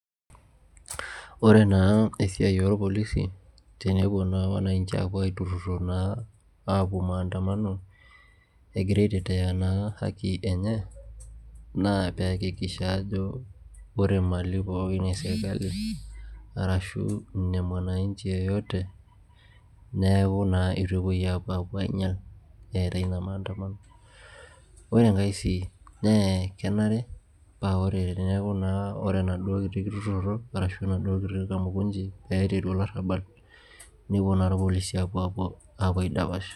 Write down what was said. ore naa esiai oo irpolisi tenepuo naa wanaichi apuo atururo naa apuo maantamano egira aiteteya naa haki enye, naa pee eyakikisha ajo ore mali pooki eserikali arasu inemwananchi yeyote, neeku naa etu epuoi apuo ang'ial eetae ina maantamano ore enkae sii naa kenare ore teneeku naa ore enaaduo kitururuoto arashu enaduo kiti kamukunchi naiteru olarabal nepuo naaa ilpolisi apuo aidash.